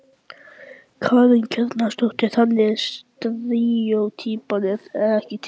Karen Kjartansdóttir: Þannig að steríótýpan er ekki til?